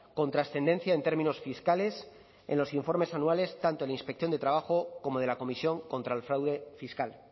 con trascendencia en términos fiscales en los informes anuales tanto en la inspección de trabajo como de la comisión contra el fraude fiscal